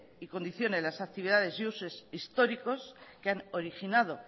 y condicione las actividades y usos históricos que han originado